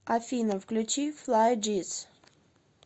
афина включи флай джис